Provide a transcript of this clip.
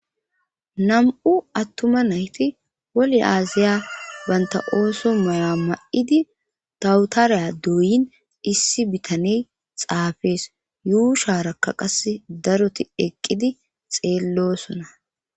Nam7u attuma nayti wole aaziya banta ooso mala ma7idi tawutariya duuyin issi bitane xaafees yuu shaarakka qas daroti eqqidi xeellosona.